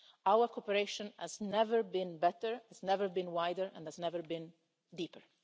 Our cooperation has never been better, it has never been wider and has never been deeper.